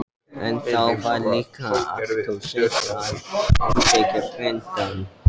En þá var líka alltof seint að heimsækja frændann.